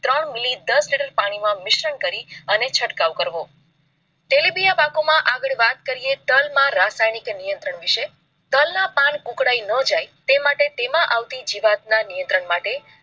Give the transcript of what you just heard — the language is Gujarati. ત્રણ મિલી દસ litre પાણી માંમિશ્રણ કરી અને છંટકાવ કરવો. તેલીબિયાં પાકો માં આગળ વાત કરીએ તલ માં રાસાયણિક નિયંત્રણ વિષે, તલ ના પાન કુકળાઈ ન જાય તે માટે, તેમાં આવતી જીવાત ના નિયંત્રણ માટે